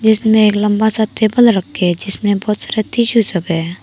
इसमें एक लंबा सा टेबल रखे हैं जिसमें बहुत सारा टिशू सब है।